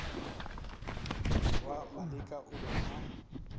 morwa maleka o be a